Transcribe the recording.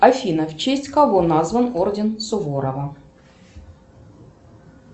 афина в честь кого назван орден суворова